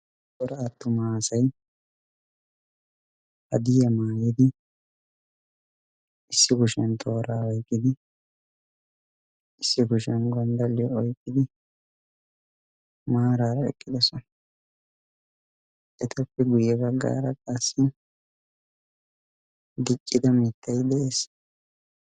cora attuma asai hadiya maayidi issi boshiyan tooraa waiqqidi issi goshiyan gonddaliyo oiqqidi maaraara eqqidosona etappi guyye bagga ara qaassi giqqida mittai de7ees